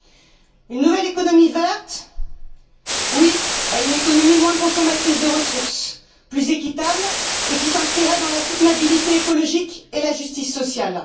Pour une nouvelle économie verte. Oui à une économie moins consommatrice des ressources, plus équitable, et qui s'inscrirait dans la soutenabilité écologique et la justice sociale.